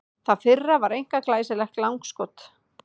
Það fyrra var einkar glæsilegt langskot.